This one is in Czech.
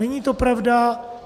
Není to pravda.